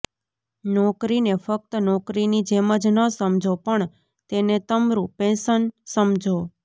નોકરીને ફ્કત નોકરીની જેમ જ ન સમજો પણ તેને તમરુ પૈશન સમજો